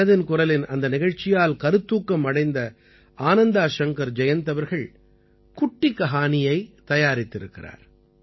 மனதின் குரலின் அந்த நிகழ்ச்சியால் கருத்தூக்கம் அடைந்த ஆனந்தா ஷங்கர் ஜயந்த் அவர்கள் குட்டி கஹானியை தயாரித்திருக்கிறார்